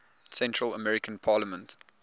central american parliament